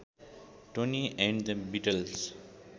Tony and the Beatles